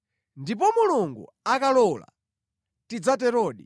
Ndipo Mulungu akalola, tidzaterodi.